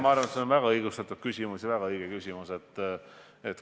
Ma arvan, et see on väga õigustatud ja väga õige küsimus.